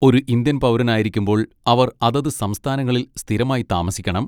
ഒരു ഇന്ത്യൻ പൗരനായിരിക്കുമ്പോൾ അവർ അതത് സംസ്ഥാനങ്ങളിൽ സ്ഥിരമായി താമസിക്കണം.